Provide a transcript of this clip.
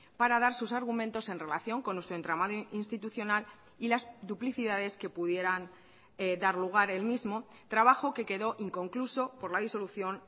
para dar sus argumentos en relación con nuestro entramado institucional y las duplicidades que pudieran dar lugar el mismo trabajo que quedó inconcluso por la disolución